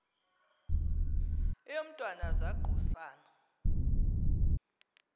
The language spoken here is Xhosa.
eyo mntwana zaquisana